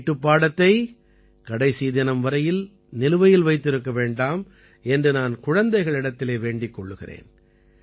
வீட்டுப்பாடத்தைக் கடைசி தினம் வரை நிலுவையில் வைத்திருக்க வேண்டாம் என்று நான் குழந்தைகளிடத்திலே வேண்டிக் கொள்கிறேன்